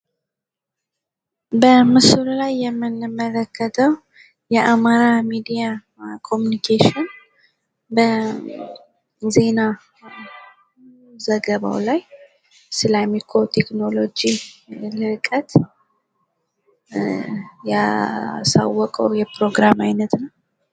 በምስሉ ላይ የምንመለከተዉ የአማራ ሚዲያ ኮሚኒኬሽን በዜና ዘገባ ላይ ስለ አሜኮ ቴክኔሎች ልህቀት ያስታወቀዉ የዜና ዘገባ ነዉ።